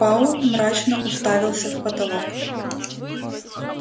пауэлл мрачно уставился в потолок